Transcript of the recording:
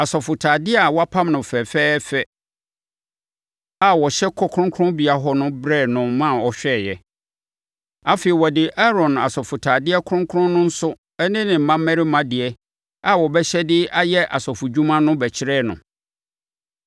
asɔfotadeɛ a wɔapam no fɛfɛɛfɛ a wɔhyɛ kɔ kronkronbea hɔ no brɛɛ no ma ɔhwɛeɛ. Afei, wɔde Aaron asɔfotadeɛ kronkron no nso ne ne mmammarima deɛ a wɔbɛhyɛ de ayɛ asɔfodwuma no bɛkyerɛɛ no.”